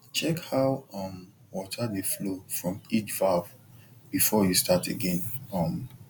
check how um water dey flow from each valve before you start again um